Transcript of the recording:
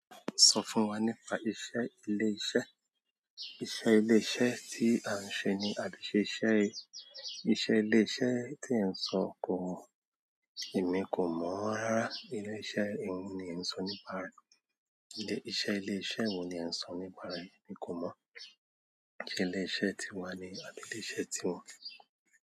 Sọ fún wa nípa iṣẹ́ ilé iṣẹ́. Iṣẹ́ ilé iṣẹ́ tí à ń ṣe ni adu ṣe iṣẹ́. Iṣẹ́ ilé iṣẹ́ tí ẹ̀ ń sọ kò mọ̀. Èmi kò mọ̀ rárá. Ilé iṣẹ́ ìhun ni ẹ̀ ń sọ nípa rẹ̀. Ilé iṣẹ́ ilé iṣẹ́ wo ni ẹ̀ ń sọ nípa rẹ̀, mi kò mọ̀. Ilé iṣẹ́ tíwa ni àbí ilé iṣẹ́ tí wọn?